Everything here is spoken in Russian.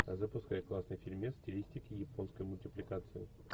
запускай классный фильмец в стилистике японской мультипликации